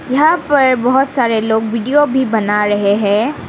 यहां पर बहुत सारे लोग वीडियो भी बना रहे हैं।